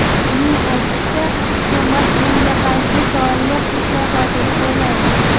Uning aytishicha, hukumat bunga qarshi soliq islohotini qo‘llaydi.